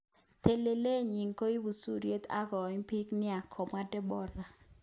"Telelet nyin koiku suryet akoim bik nia, kamwa Deborah.